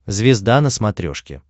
звезда на смотрешке